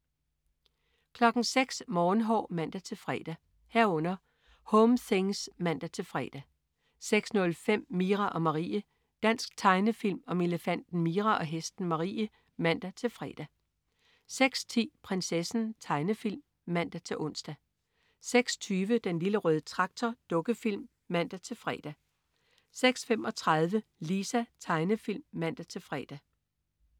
06.00 Morgenhår (man-fre) 06.00 Home things (man-fre) 06.05 Mira og Marie. Dansk tegnefilm om elefanten Mira og hesten Marie (man-fre) 06.10 Prinsessen. Tegnefilm (man-ons) 06.20 Den Lille Røde Traktor. Dukkefilm (man-fre) 06.35 Lisa. Tegnefilm (man-fre)